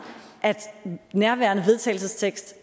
at nærværende forslag vedtagelse